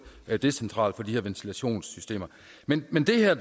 decentralt for de her ventilationssystemer men men det her